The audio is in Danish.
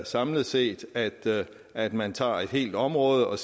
samlet set at man tager et helt område og